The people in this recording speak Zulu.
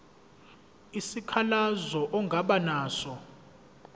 isikhalazo ongaba naso